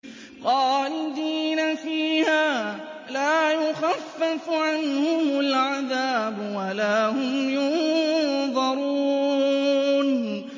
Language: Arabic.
خَالِدِينَ فِيهَا ۖ لَا يُخَفَّفُ عَنْهُمُ الْعَذَابُ وَلَا هُمْ يُنظَرُونَ